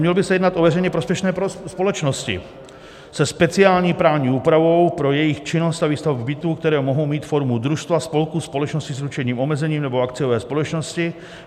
Mělo by se jednat o veřejně prospěšné společnosti se speciální právní úpravou pro jejich činnost a výstavbu bytů, které mohou mít formu družstva, spolku, společnosti s ručením omezeným nebo akciové společnosti.